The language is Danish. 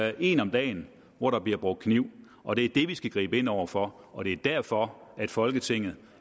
er en om dagen hvor der bliver brugt kniv og det er det vi skal gribe ind over for og det er derfor at folketinget